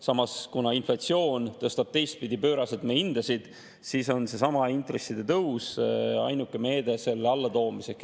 Samas, kuna inflatsioon tõstab teistpidi pööraselt hindasid, siis on seesama intresside tõus ainuke meede selle allatoomiseks.